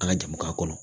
An ka jamana kɔnɔ